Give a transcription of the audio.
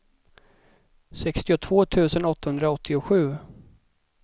sextiotvå tusen åttahundraåttiosju